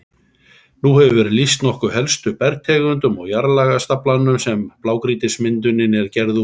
Nú hefur verið lýst nokkuð helstu bergtegundum og jarðlagastaflanum sem blágrýtismyndunin er gerð úr.